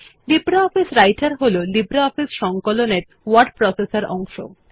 LibreOffice রাইটের হল LibreOffice সংকলনের ওয়ার্ড প্রসেসর অংশ